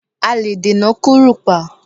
A lè dènà kúrùpá